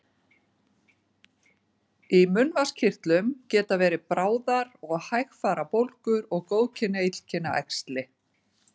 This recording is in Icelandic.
Í munnvatnskirtlum geta bæði verið bráðar og hægfara bólgur og góðkynja og illkynja æxli.